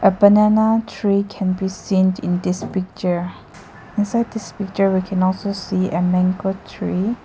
A banana tree can be seen in this picture beside this picture we can also see a mango tree.